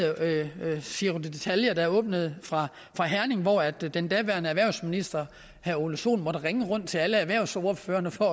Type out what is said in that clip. giro ditalia der åbnede fra herning hvor den daværende erhvervsminister herre ole sohn måtte ringe rundt til alle erhvervsordførerne for